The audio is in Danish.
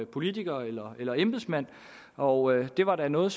politiker eller eller embedsmand og det var da noget